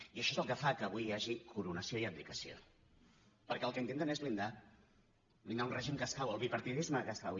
i això és el que fa que avui hi hagi coronació i abdicació perquè el que intenten és blindar blindar un règim que cau el bipartidisme que cau